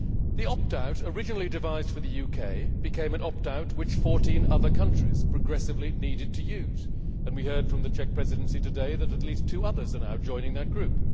The opt out, originally devised for the UK, became an opt out that 14 other countries progressively needed to use, and we heard from the Czech Presidency today that at least two others are now joining that group.